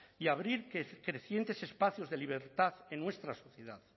y abrir crecientes espacios de libertad en nuestra sociedad